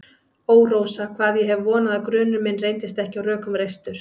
Ó, Rósa, hvað ég hef vonað að grunur minn reyndist ekki á rökum reistur.